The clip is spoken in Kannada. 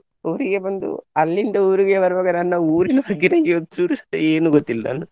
ಊರಿಗೆ ಬಂದು ಅಲ್ಲಿಂದ ಊರಿಗೆ ಬರುವಾಗ ನನ್ನ ಊರಿನ ಬಗ್ಗೆ ನಂಗೆ ಒಂದ್ ಚೂರುಸಾ ಏನು ಗೊತ್ತಿಲ್ಲ.